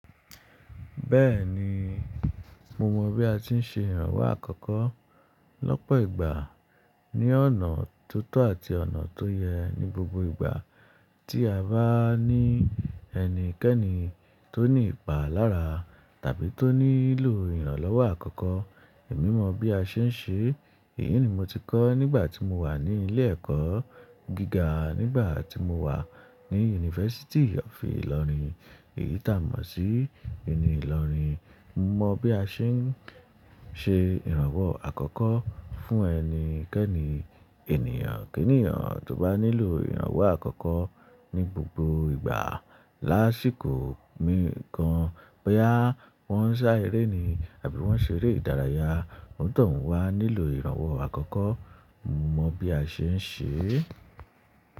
Bẹ́ẹ̀ni, mo mọ bí a ti ń ṣe ìrànwọ́ àkọ́kọ́ lọ́pọ̀ ìgbà ní ọ̀nà tó tọ́ àti ọ̀nà tó yẹ ní gbogbo ìgbà tí a bá ní ẹni kẹ́nì tó ní ìpà lára tàbí tó nílò ìrànlọ́wọ́ àkọ́kọ́. Èmi mọ bí a ṣe ń ṣe, èyí ni mo ti kọ́ nígbà tí mo wà ní ilé ẹ̀kọ́ gíga, nígbà tí mo wà ní Yunifásítì of Ìlọrin. Èyí tá mọ̀ sí uniÌlọrin. Mo mọ bí a ṣe ń ṣe ìrànwọ́ àkọ́kọ́ fún ẹni kẹ́ẹ́nì. Ènìyàn k'ènìyàn tó bá nílò ìrànwọ́ àkọ́kọ́ ní gbogbo ìgbà lásìkò mí kan, bóyá wọ́n ń sá eré ni àbí wọ́n ṣeré ìdárayá, ọ̀nitọ̀un wà nílò ìrànwọ́ àkọ́kọ́. Mo mọ bí a ṣe ń ṣe é.